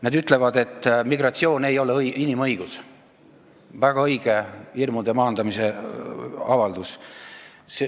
See ütleb, et migratsioon ei ole inimõigus – väga õige hirmude maandamise avaldus.